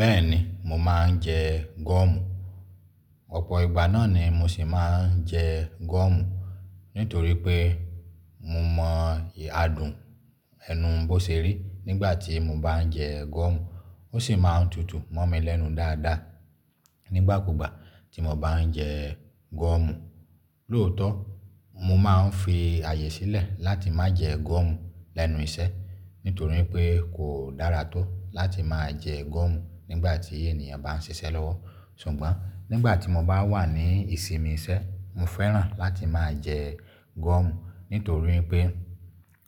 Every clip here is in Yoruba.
Bẹ́ẹ̀ni, mò máa ń jẹ gọ́ọ̀mù. Ọ̀pọ̀ ìgbà náà ni mo sì máa ń jẹ gọ́ọ̀mù nítorí pé mo mọ adùn ẹnu bó ṣe rí nígbàtí mo bá ń jẹ gọ́ọ̀mù. Ó sì máa ń tutù mọ́ mi lẹ́nu dáadáa nígbàkúgbà tí mo bá ń jẹ gọ́ọ̀mù. Lóòótọ́, mo máa n fi ààyè sílẹ̀ láti má jẹ gọ́ọ̀mù lẹ́nu iṣẹ́ nítorí pé kò dára tó láti máa jẹ gọ́ọ̀mù nígbàtí ènìyàn bá n ṣiṣẹ́ lọ́wọ́. Ṣùgbọ́n nígbàtí mo bá wà ní ìsinmi iṣẹ́, mo fẹ́ràn láti máa jẹ gọ́ọ̀mù nítorí pé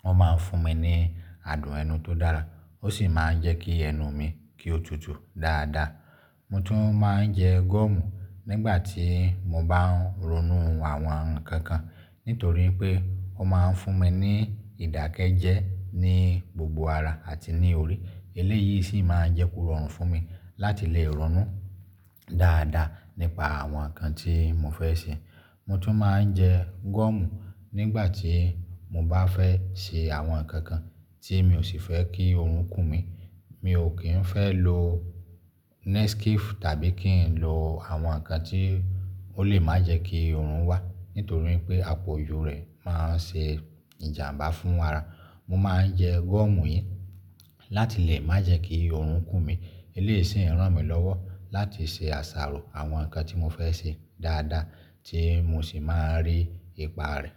wọ́n máa ń fún mi ní adùn ẹnu tó dára ó sì máa ń jẹ́ kí ẹnu mi kí ó tutù dáadáa. Mo tún máa ń jẹ gọ́ọ̀mù nígbàtí mo bá ń ronú àwọn ǹnkan kan nítorí pé ó máa ń fún mi ní ìdákẹ́jẹ́ ní gbogbo ara àti ní orí. Eléyìí sì máa ń jẹ́ kó rọrùn fún mi láti lè ronú dáadáa nípa àwọn ǹnkan tí mo fẹ́ ṣe. Mo tún máa ń jẹ gọ́ọ̀mù nígbàtí mo bá fẹ́ ṣe àwọn ǹnkan kan tí mi ò sì fẹ́ kí oòrùn kù mi. Mi ò kí ń fẹ́ lo Nescafe tàbí kí n lo àwọn nǹkan tí ó lè má jẹ́ kí oòrùn wà nítorí pé àpòjù rẹ̀ máa ń ṣe ìjàmbá fún ara. Mo máa ń jẹ gọ́ọ̀mù yìí láti lè máa jẹ́ kí oòrùn kù mi. Eléyìí sì ń ràn mí lọ́wọ́ láti ṣe àṣàrò àwọn ǹnkan tí mo fẹ́ ṣe dáadáa tí mo sì máa ń rí ipa rẹ̀.